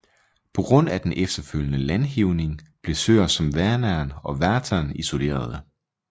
På grund af den efterfølgende landhævning blev søer som Vänern og Vättern isolerede